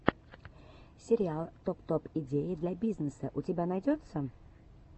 сериал топ топ идеи для бизнеса у тебя найдется